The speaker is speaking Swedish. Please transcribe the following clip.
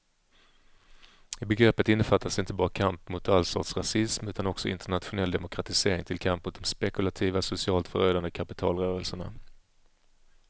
I begreppet innefattas inte bara kamp mot all sorts rasism utan också internationell demokratisering till kamp mot de spekulativa, socialt förödande kapitalrörelserna.